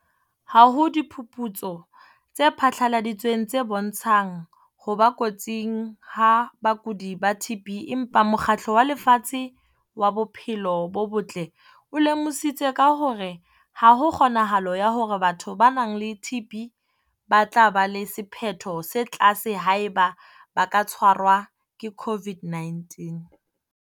Ha ho diphuputso tse phatlaladitsweng tse bontshang ho ba kotsing ha bakudi ba TB empa Mokgatlo wa Lefatshe wa Bophelo bo Botle o lemositse ka hore ha ho kgonahalo ya hore batho ba nang le TB ba tla ba le sephetho se tlase haeba ba ka tshwarwa ke COVID-19.